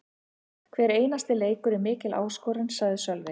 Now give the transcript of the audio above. Hver einasti leikur er mikil áskorun, sagði Sölvi.